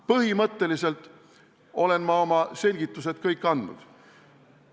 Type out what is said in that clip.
Põhimõtteliselt olen ma kõik oma selgitused andnud.